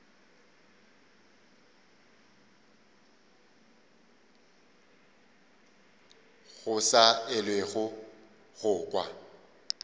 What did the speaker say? go sa elwego go kwa